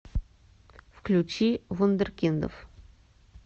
включи вундеркиндов